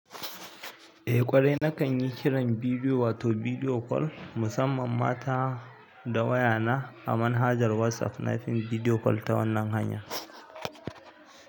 Eh ƙwarai, nakan yi kiran bidiyo wato bidiyo call musamman mata da waya na a manhajar WhatsApp na fim bidiyo call ta wannan hanya.